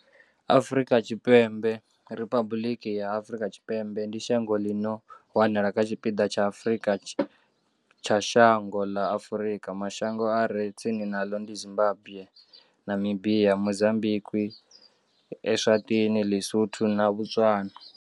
Afrika Tshipembe Riphabuḽiki ya Afrika Tshipembe ndi shango ḽi no wanala kha tshipiḓa tsha tshipembe tsha dzhango ḽa Afurika. Mashango a re tsini naḽo ndi Zimbagwe, Namibia, Mozambikwi, Eswatini, Ḽi-Sotho na Botswana.